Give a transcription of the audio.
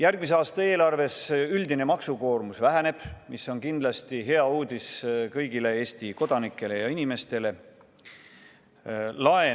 Järgmise aasta eelarves üldine maksukoormus väheneb, mis on kindlasti hea uudis kõigile Eesti kodanikele ja teistele elanikele.